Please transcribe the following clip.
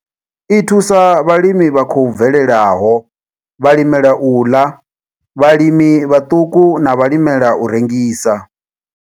I thusa vhalimi vha khou bvelelaho, vhalimela u ḽa, vhalimi vhaṱuku na vhalimela u rengisa.